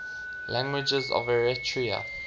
languages of eritrea